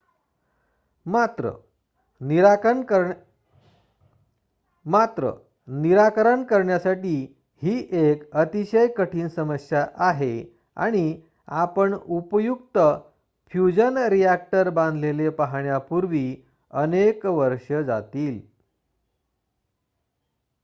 मात्र निराकरण करण्यासाठी ही एक अतिशय कठीण समस्या आहे आणि आपण उपयुक्त फ्युजन रिॲक्टर बांधलेले पाहण्यापूर्वी अनेक वर्षे जातील